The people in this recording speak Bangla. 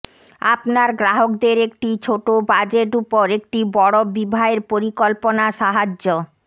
আপনার গ্রাহকদের একটি ছোট বাজেট উপর একটি বড় বিবাহের পরিকল্পনা সাহায্য